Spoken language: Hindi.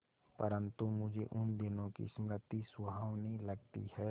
परंतु मुझे उन दिनों की स्मृति सुहावनी लगती है